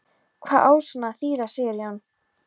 Hvað á svona að þýða Sigurjón?